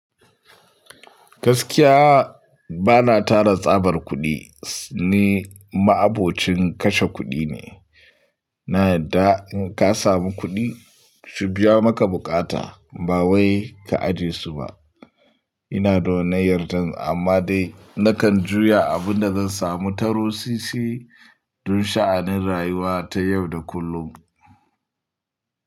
Gaskiya ba na tara tsabar kuɗi, ni ma'abocin kashe kuɗi ne. Na yadda in ka samu kuɗi, su biya maka buƙata ba wai ka ajiye su ba. Ina da wanan 'yar dan, amma dai na kan juya abin da zan samu taro sisi don sha'anin rayuwa ta yau da kullum.